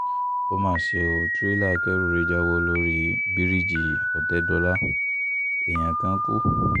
ó mà ṣe ọ́ tírélà akẹ́rù rẹ já bọ́ lórí bíríìjì òtẹ́dọ́là èèyàn kan kú